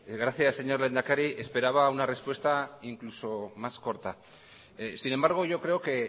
gracias señor lehendakari esperaba una respuesta incluso más corta sin embargo yo creo que